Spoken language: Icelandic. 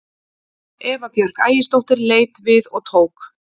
Eva Björk Ægisdóttir leit við og tók